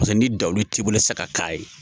Paseke ni dawu t'i bolo sa ka k'a ye